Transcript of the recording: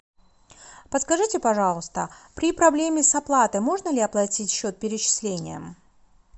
подскажите пожалуйста при проблеме с оплатой можно ли оплатить счет перечислением